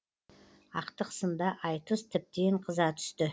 ақтық сында айтыс тіптен қыза түсті